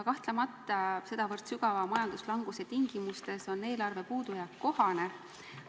Kahtlemata on sedavõrd sügava majanduslanguse tingimustes eelarve puudujääk kohane.